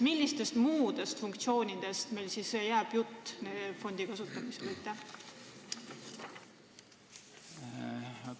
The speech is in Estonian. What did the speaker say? Millistest muudest funktsioonidest fondi kasutamisel siis jutt saab olla?